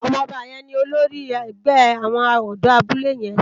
Òmò òbá yèn ni ólórì ègbè áwòn òdò àbúlé yèn